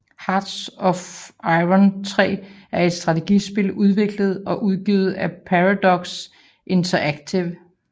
Hearts of iron III er et strategispil udviklet og udgivet af Paradox Interactive